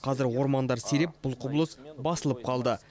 қазір ормандар сиреп бұл құбылыс басылып қалды